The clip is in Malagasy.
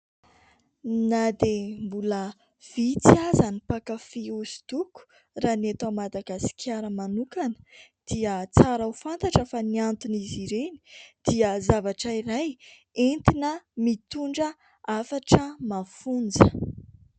Na dia mbola vitsy aza ny mpankafy hosodoko raha ny eto Madagasikara manokana dia tsara ho fantatra fa ny anton' izy ireny dia zavatra iray entina mitondra hafatra mafonja.